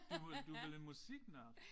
Du vel du vel en musiknørd